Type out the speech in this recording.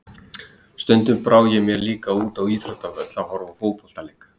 Stundum brá ég mér líka út á íþróttavöll að horfa á fótboltaleik.